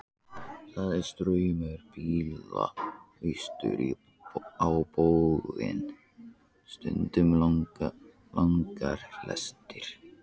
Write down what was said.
Það er straumur bíla austur á bóginn, stundum langar lestir.